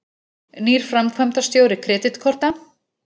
Nýr framkvæmdastjóri Kreditkorta